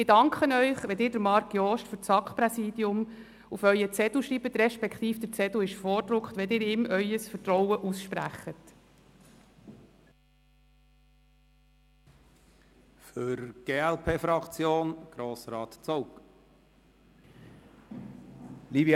Ich danke Ihnen, wenn Sie Marc Jost für das SAK-Präsidium auf Ihren Zettel schreiben – respektive wenn Sie ihm Ihr Vertrauen aussprechen, denn der Zettel ist vorgedruckt.